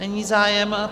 Není zájem.